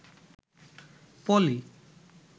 পলি